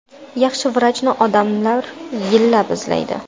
Yaxshi vrachni odamlar yillab izlaydi.